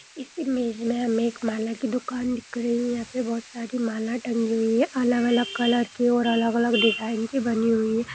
इस इमेज में हमें एक माला की दुकान दिख रही है यहाँ पर बहुत सारी माल टंगी हुई हैं अलग-अलग कलर की और अलग-अलग डिजाइन की बनी हुई है।